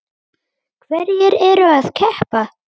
Hverjir eru að keppa?